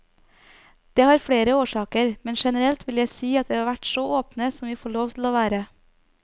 Det har flere årsaker, men generelt vil jeg si at vi har vært så åpne som vi får lov til å være.